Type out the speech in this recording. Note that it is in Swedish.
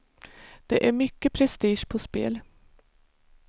Det är mycket prestige på spel.